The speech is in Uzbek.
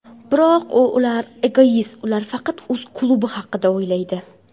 Biroq ular egoist, ular faqat o‘z klubi haqida o‘ylaydi.